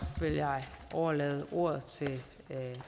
og overlade ordet til